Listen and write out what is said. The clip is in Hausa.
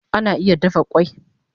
Egg can be boiled